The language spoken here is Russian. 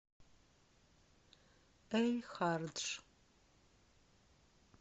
эль хардж